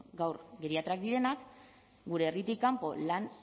gaur geriatrak direnak gure herritik kanpo lan